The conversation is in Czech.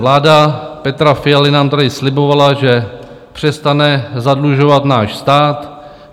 Vláda Petra Fialy nám tady slibovala, že přestane zadlužovat náš stát.